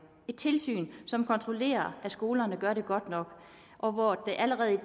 et tilsyn som kontrollerer at skolerne gør det godt nok og hvor der allerede i